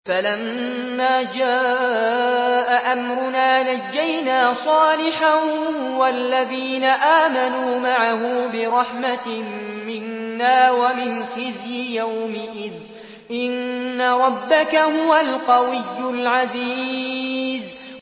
فَلَمَّا جَاءَ أَمْرُنَا نَجَّيْنَا صَالِحًا وَالَّذِينَ آمَنُوا مَعَهُ بِرَحْمَةٍ مِّنَّا وَمِنْ خِزْيِ يَوْمِئِذٍ ۗ إِنَّ رَبَّكَ هُوَ الْقَوِيُّ الْعَزِيزُ